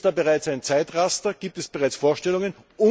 Gibt es da bereits ein Zeitraster, gibt es bereits Vorstellungen?